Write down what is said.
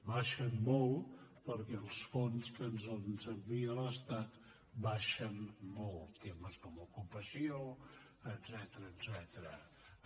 baixen molt perquè els fons que ens envia l’estat baixen molt temes com ocupació etcètera